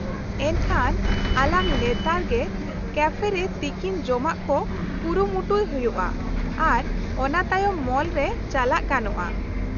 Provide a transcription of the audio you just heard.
- ᱮᱱᱠᱷᱟᱱ ᱟᱞᱟᱝ ᱞᱮᱛᱟᱲ ᱜᱮ ᱠᱮᱯᱷ ᱨᱮ ᱛᱤᱠᱤᱱ ᱡᱚᱢᱟᱜ ᱠᱚ ᱠᱩᱨᱩᱢᱩᱴᱩᱭ ᱦᱩᱭᱩᱜᱼᱟ ᱟᱨ ᱚᱱᱟᱛᱟᱭᱚᱢ ᱢᱚᱞ ᱨᱮ ᱪᱟᱞᱟᱜ ᱜᱟᱱᱚᱜᱼᱟ ?